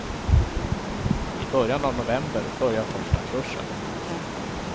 I början av november börjar första kursen.